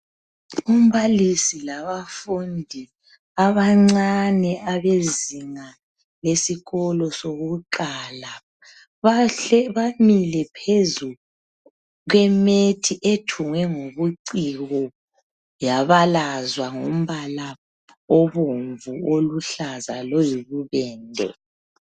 Umbalisi labafundi abancane abezinga lesikolo sokuqala bamile phezu kwemethi ethungwe ngobuciko yabalazwa ngombala obomvu, oluhlaza loyibubende.